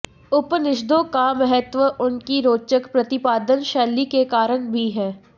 उपनिषदों का महत्त्व उनकी रोचक प्रतिपादन शैली के कारण भी है